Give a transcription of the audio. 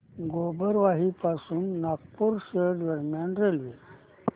गोबरवाही पासून नागपूर शहर दरम्यान रेल्वे